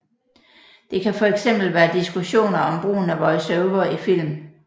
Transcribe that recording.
Det kan fx være diskussioner om brugen af voice over i film